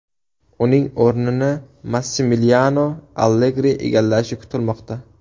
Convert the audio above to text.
Uning o‘rnini Massimiliano Allegri egallashi kutilmoqda.